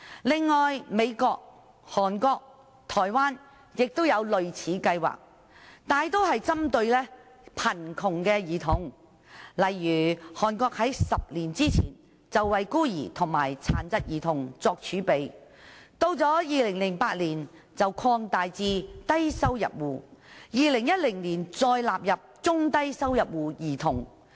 此外，美國、韓國、台灣也有類似計劃，大多數是針對貧窮兒童，例如韓國在10年前為孤兒和殘疾兒童作儲備，到2008年，更擴大至低收入戶 ，2010 年再納入中低收入戶兒童。